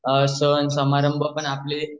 सण समारंभ पण आपले